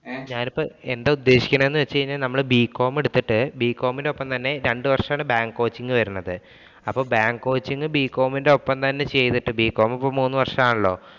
ഞാനിപ്പോ എന്താ ഉദ്ദേശിക്കുന്നത് എന്ന് വച്ച് കഴിഞ്ഞാൽ നമ്മള് B. com എടുത്തിട്ട് Bcom ഇനോപ്പം തന്നെ രണ്ടു വര്‍ഷമാണ്‌ bank coaching വരുന്നത്. അപ്പൊ bank coaching Bcom ഇമിനോപ്പം തന്നെ ചെയ്തിട്ട് Bcom ഇപ്പം മൂന്നു വര്‍ഷമാണല്ലോ.